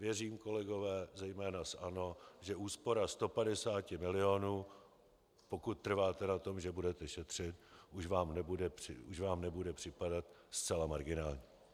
Věřím, kolegové, zejména z ANO, že úspora 150 milionů, pokud trváte na tom, že budete šetřit, už vám nebude připadat zcela marginální.